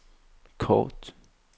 kort